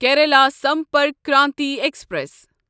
Kerala Sampark Kranti express